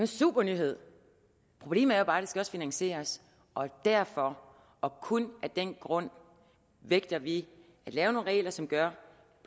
super nyhed problemet er bare skal finansieres og derfor og kun af den grund vægter vi at lave nogle regler som gør